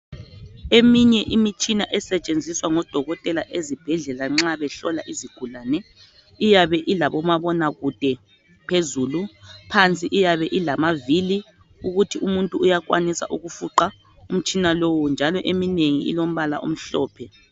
Eminye imitshina esetshenziswa ngodokotela ezibhedlela nxa behlola izigulani iyabe ilabo mabona kude phezulu phansi iyabe ilamavili ukuthi umuntu uyakwanisa ukufuqa umtshina lowo njalo eminengi iombala omhlophe